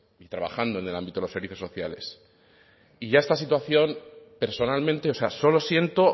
trabajando en el ámbito de los servicios sociales y ya esta situación personalmente o sea solo siento